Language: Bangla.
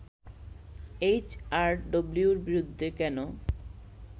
এইচ আর ডব্লিউর বিরুদ্ধে কেন